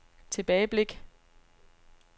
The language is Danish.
tilbageblik